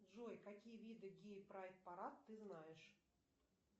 джой какие виды гей прайд парад ты знаешь